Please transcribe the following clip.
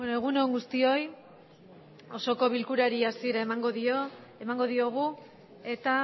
egun on guztioi osoko bilkurari hasiera emango dio emango diogu eta